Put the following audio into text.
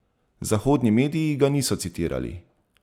Zahodni mediji ga niso citirali.